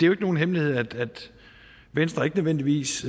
jo ikke nogen hemmelighed at venstre ikke nødvendigvis